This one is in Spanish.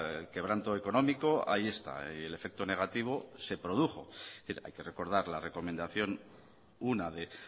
el quebranto económico ahí está y el efecto negativo se produjo hay que recordar la recomendación una de